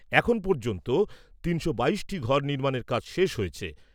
এখন পর্যন্ত তিনশো বাইশটি ঘর নির্মাণের কাজ শেষ হয়েছে।